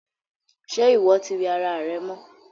Ṣe iwọ tí wẹ̀ ará rẹ mọ́?